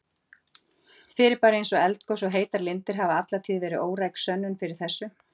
Fyrirbæri eins og eldgos og heitar lindir hafa alla tíð verið óræk sönnun fyrir þessu.